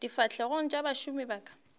difahlegong tša bašomi ba ka